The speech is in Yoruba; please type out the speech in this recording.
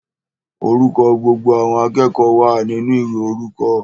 Orúkọ gbogbo àwọn akẹ́kọ̀ọ́ wa ninu ìwé orúkọ.